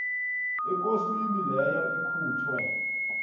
ekosini leyo ikhutjhwe